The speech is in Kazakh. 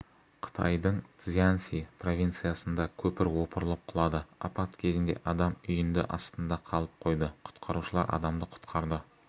қытайдың цзянси провинциясында көпір опырылып құлады апат кезінде адам үйінді астында қалып қойды құтқарушылар адамды құтқарды